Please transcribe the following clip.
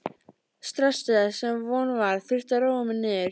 stressaður, sem von var, þurfti að róa mig niður.